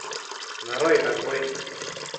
нарой разбойник